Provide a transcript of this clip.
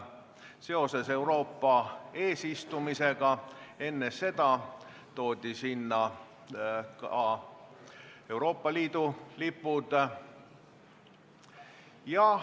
Seoses Euroopa Liidu eesistumisega toodi sinna ka Euroopa Liidu lipud.